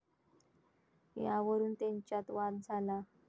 यावरून त्यांच्यात वाद झाला.